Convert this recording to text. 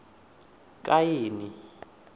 kaini